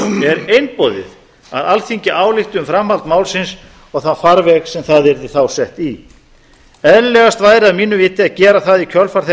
er einboðið að alþingi álykti um framhald málsins og þann farveg sem það yrði þá sett í eðlilegast væri að mínu viti að gera það í kjölfar þeirrar